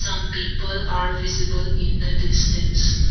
some people are visible in the distance.